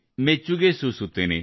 ಮೆಚ್ಚುಗೆ ಸೂಸುತ್ತೇನೆ